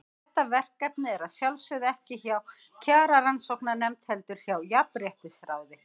Þetta verkefni er að sjálfsögðu ekki hjá Kjararannsóknarnefnd, heldur hjá Jafnréttisráði.